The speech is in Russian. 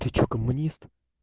коммунист